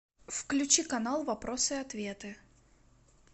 включи канал вопросы и ответы